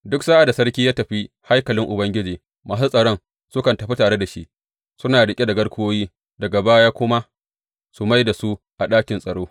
Duk sa’ad da sarki ya tafi haikalin Ubangiji, masu tsaron sukan tafi tare da shi, suna riƙe da garkuwoyi, daga baya kuma su mai da su a ɗakin tsaro.